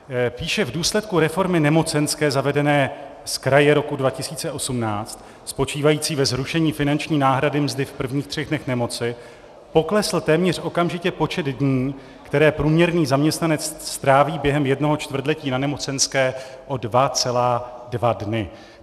Píše: V důsledku reformy nemocenské zavedené zkraje roku 2018, spočívající ve zrušení finanční náhrady mzdy v prvních třech dnech nemoci, poklesl téměř okamžitě počet dní, které průměrný zaměstnanec stráví během jednoho čtvrtletí na nemocenské, o 2,2 dny.